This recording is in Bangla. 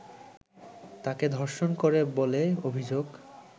তাঁকে ধর্ষণ করে বলে অভিযোগ